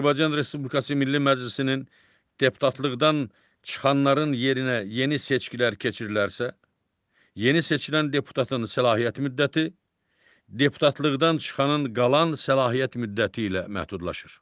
Azərbaycan Respublikası Milli Məclisinin deputatlıqdan çıxanların yerinə yeni seçkilər keçirilərsə, yeni seçilən deputatın səlahiyyət müddəti deputatlıqdan çıxanın qalan səlahiyyət müddəti ilə məhdudlaşır.